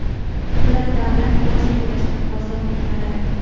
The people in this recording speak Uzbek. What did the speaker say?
ular davlat bojini to‘lashdan ozod etiladi.